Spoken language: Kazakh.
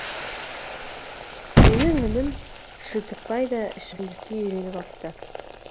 менің інім шілтікбай да ішімдікке үйреніп апты